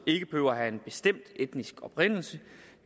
ikke behøver at have en bestemt etnisk oprindelse